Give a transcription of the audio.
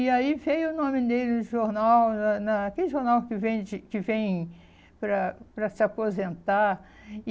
E aí veio o nome dele no jornal, na naquele jornal que vende que vem para para se aposentar.